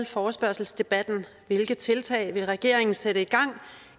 forespørgselsdebatten hvilke tiltag vil regeringen sætte i gang